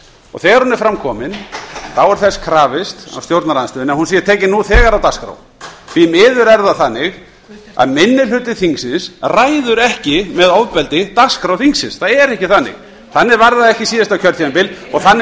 og þegar hún er fram kæmi þá er þess krafist af stjórnarandstöðunni að hún sé tekin nú þegar á dagskrá því miður er það þannig að minni hluti þingsins ræður ekki með ofbeldi dagskrá þingsins það er ekki þannig þannig var það ekki síðasta kjörtímabil og þannig